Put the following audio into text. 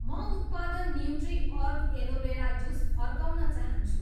म उत्पादन न्युट्रिअर्ग एलोभेरा जुस फर्काउन चाहन्छु